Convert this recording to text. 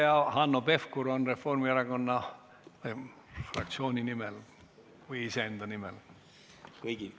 Kas Hanno Pevkur võtab sõna Reformierakonna fraktsiooni nimel või iseenda nimel?